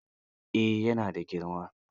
Eh, ya na da girma